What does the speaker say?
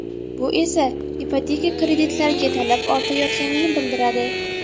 Bu esa ipoteka kreditlariga talab ortayotganini bildiradi.